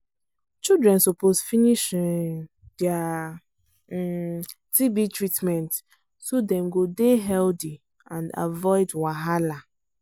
children suppose finish um dia um tb treatment so dem go dey healthy and avoid wahala.